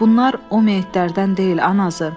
Bunlar o meyitlərdən deyil, anası.